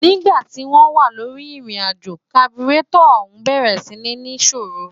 nígba tí wọ́n wà lórí ìrìnàjò, kaburétọ̀ ọ̀ún bẹ̀rẹ̀ sí ń ní ìṣòrò